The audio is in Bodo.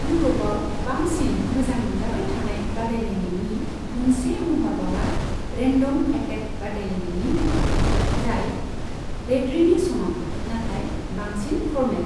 इउर'पआव बांसिन मोजां मोनजाबाय थानाय बादायलायनायनि मोनसे महरबावा रेन्दम एटेक बादायलायनायनि महर, जाय रेदरिनि समान, नाथाय बांसिन फरमेल।